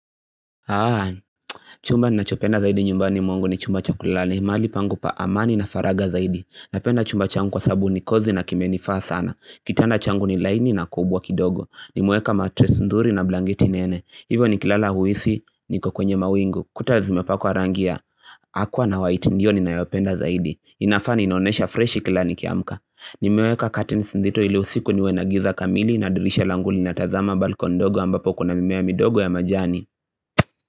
Haan, chumba ninachopenda zaidi nyumbani mwangu, ni chumba cha kulala, mahali pangu pa amani na faragha zaidi. Napenda chumba changu kwa sababu ni kozi na kimenifaa sana, kitanda changu ni laini na kubwa kidogo, nimeweka matress nzuri na blanketi nene, hivyo nikilala huisi niko kwenye mawingu, kuta zimepakwa rangi ya Aqua na white ndio ninayopenda zaidi, inafa inanionesha freshi kila nikiamka, nimeweka katains nzito ili usiku niwe na giza kamili na dirisha langu lina tazama balkoni ndogo ambapo kuna mimea midogo ya majani.